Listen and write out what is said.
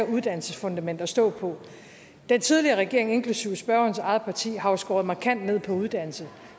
uddannelsesfundament at stå på den tidligere regering inklusive spørgerens eget parti har jo skåret markant ned på uddannelse